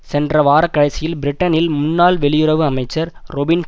சென்ற வாரக்கடைசியில் பிரிட்டனில் முன்னாள் வெளியுறவு அமைச்சர் ரொபின்